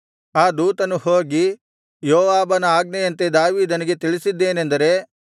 ಆ ದೂತನು ಹೋಗಿ ಯೋವಾಬನ ಆಜ್ಞೆಯಂತೆ ದಾವೀದನಿಗೆ ತಿಳಿಸಿದ್ದೇನೆಂದರೆ